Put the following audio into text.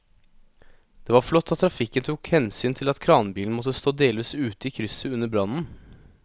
Det var flott at trafikken tok hensyn til at kranbilen måtte stå delvis ute i krysset under brannen.